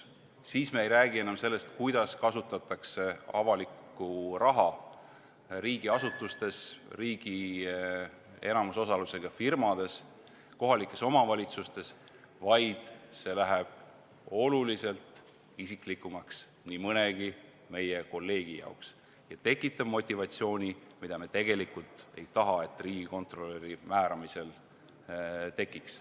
Siis me ei räägi enam sellest, kuidas kasutatakse avalikku raha riigiasutustes, riigi enamusosalusega firmades, kohalikes omavalitsustes, vaid see läheb oluliselt isiklikumaks nii mõnegi meie kolleegi jaoks ja tekitab motivatsiooni, mida riigikontrolöri määramisel ei tohiks tekkida.